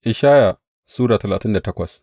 Ishaya Sura talatin da takwas